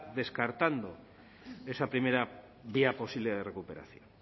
descartando esa primera vía posible de recuperación